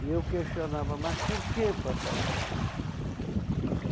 E eu questionava, mas por quê, papai?